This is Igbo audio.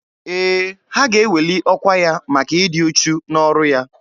Ee, ha ga-eweli ọkwa ya maka ịdị uchu n'ọrụ ya.